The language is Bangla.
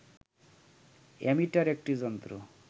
অ্যামিটার একটি যন্ত্র